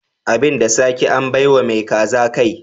Abin da sake, an bai wa mai kaza kai.